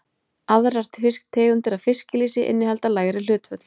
Aðrar tegundir af fiskilýsi innihalda lægri hlutföll.